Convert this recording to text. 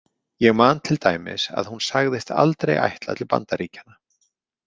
Ég man til dæmis að hún sagðist aldrei ætla til Bandaríkjanna.